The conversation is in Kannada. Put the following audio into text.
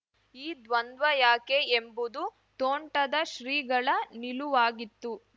ಈ ದ್ವಂದ್ವ ಯಾಕೆ ಎಂಬುದು ತೋಂಟದ ಶ್ರೀಗಳ ನಿಲುವಾಗಿತ್ತು